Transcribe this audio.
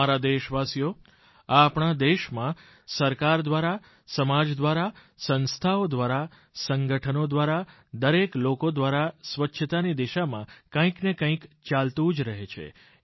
મારા દેશવાસીઓ આ આપણા દેશમાં સરકાર દ્વારા સમાજ દ્વારા સંસ્થાઓ દ્વારા સંગઠનો દ્વારા દરેક લોકો દ્વારા સ્વચ્છતાની દિશામાં કંઈકને કંઈક ચાલતું જ રહે છે